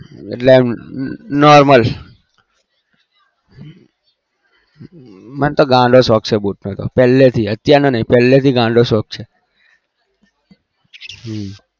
એટલે આમ normal મને તો ગાંડો શોક છે boot નો પેલે થી અત્યાર થી પેલે થી ગાંડો શોક છે